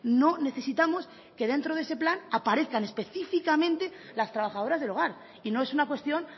no necesitamos que dentro de ese plan aparezcan específicamente las trabajadoras del hogar y no es una cuestión